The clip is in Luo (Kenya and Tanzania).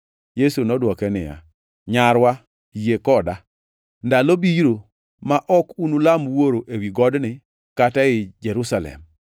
Yesu nodwoke niya, “Nyarwa, yie koda; ndalo biro ma ok unulam Wuoro ewi godni kata ei Jerusalem.